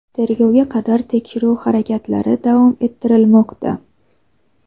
Tergovga qadar tekshiruv harakatlari davom ettirilmoqda.